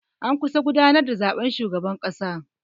An kusa gudanar da zaɓen shugaban ƙasa.